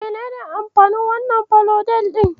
Menene amfanin wannan falodel ɗin?